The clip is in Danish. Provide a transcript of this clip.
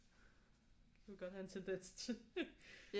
Det kunne godt have en tendens til